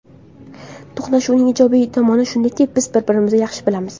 To‘qnashuvning ijobiy tomoni shundaki, biz bir-birimizni yaxshi bilamiz.